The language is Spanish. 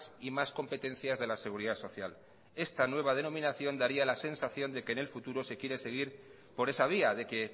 y más competencias de la seguridad social esta nueva denominación daría la sensación de que en el futuro se quiere seguir por esa vía de que